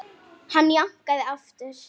Hann jánkaði aftur.